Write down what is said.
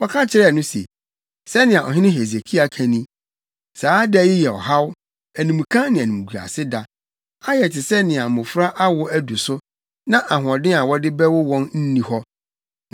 Wɔka kyerɛɛ no se, “Sɛnea ɔhene Hesekia ka ni: Saa da yi yɛ ɔhaw, animka ne animguase da. Ayɛ te sɛ nea mmofra awo du so, na ahoɔden a wɔde bɛwo wɔn nni hɔ.